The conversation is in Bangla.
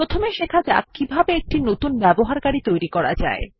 প্রথমে শেখা যাক কিভাবে একটি নতুন ব্যবহারকারী তৈরী করা যায়